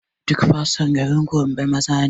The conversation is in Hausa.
Duk fasto a garin gombe maza ne